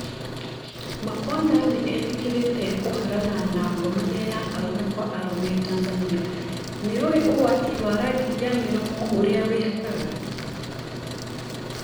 Makonda nĩetĩkĩrĩte kũharana na ngomania ya arũme Kwa arũme Tanzania, nĩũĩ ũgwati wa rangi ya mĩromo ũrĩa wĩhakaga?